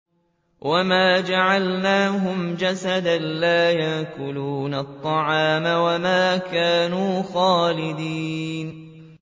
وَمَا جَعَلْنَاهُمْ جَسَدًا لَّا يَأْكُلُونَ الطَّعَامَ وَمَا كَانُوا خَالِدِينَ